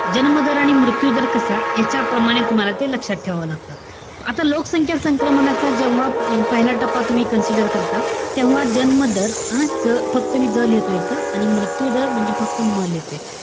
जन्म दर आणि मृत्यू दर कसा, यांच्याप्रमाणे तुम्हाला ते लक्षात ठेवावं लागत. आता लोकसंख्या संक्रमणाचा जेव्हा पहिला टप्पा तूम्ही consider करता, तेव्हा जन्म दर हं? फक्त मी ज लिहितो इथं. आणि मृत्यू दर म्हणजे फक्त म लिहितोय.